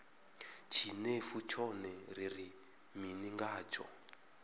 tshinefu tshone ri ri mini ngatsho